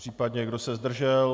Případně kdo se zdržel?